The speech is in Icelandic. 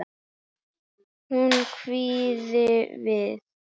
Hún hváði við.